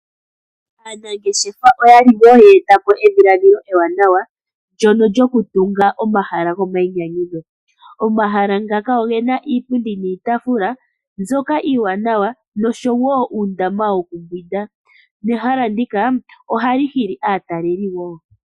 Aanangeshefa oya li wo yeta po edhiladhilo ewanawa ndyoka lyokutunga po omahala gomainyanyudho. Omahala ngaka ogena iipundi niitafula mbyoka iiwanawa nosho wo uundama wo kumbwinda, nehala ndika oha li hili aataleli wo.